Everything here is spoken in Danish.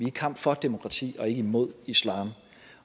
i kamp for demokrati og ikke imod islam